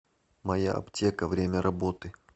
моя аптека время работы